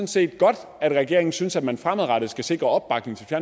set godt at regeringen synes at man fremadrettet skal sikre opbakning til